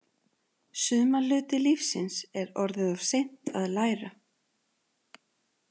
Suma hluti lífsins er orðið of seint að læra.